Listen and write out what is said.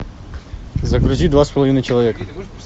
загрузи два с половиной человека